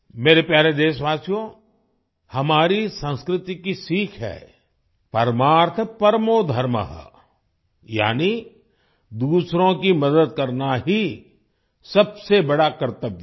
मेरे प्यारे देशवासियो हमारी संस्कृति की सीख है परमार्थ परमो धर्मः यानि दूसरों की मदद करना ही सबसे बड़ा कर्तव्य है